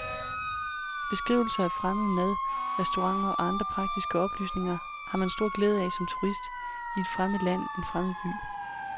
Beskrivelser af fremmed mad, restauranter og andre praktiske oplysninger, man har stor glæde af som turist i et fremmed land, en fremmed by.